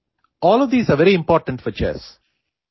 all of these are very important for chess